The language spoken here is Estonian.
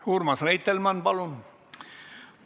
Urmas Reitelmann, palun!